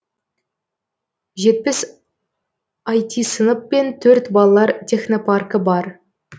жетпіс іт сынып пен төрт балалар технопаркі бар